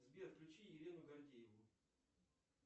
сбер включи елену гордееву